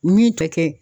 Min tɛ kɛ